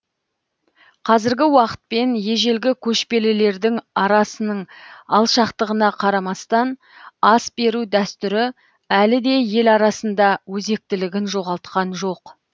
қазіргі уақытпен ежелгі көшпелілердің арасының алшақтығына қарамастан ас беру дәстүрі әліде ел арасында өзектілігін жоғалтқан жоқ